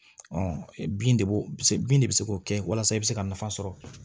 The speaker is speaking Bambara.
bin de b'o bin de bɛ se k'o kɛ walasa i bɛ se ka nafa sɔrɔ